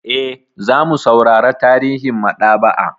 E, za mu saurara tarihin maɗaba'a.